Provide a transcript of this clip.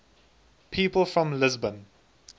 people from lisbon